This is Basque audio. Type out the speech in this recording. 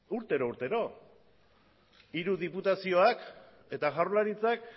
urtero urtero hiru diputazioak eta jaurlaritzak